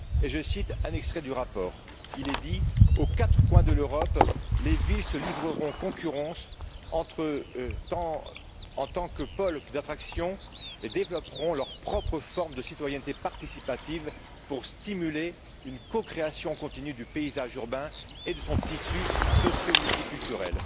Je cite un extrait du rapport. Il est dit Aux quatre coins de l'Europe, les villes se livreront concurrence en tant que pôles d'attraction et développeront leurs propres formes de citoyenneté participative pour stimuler une co création continue du paysage urbain et de son tissu social multiculturel.